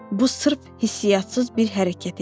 Bu sırf hissiyyatsız bir hərəkət idi.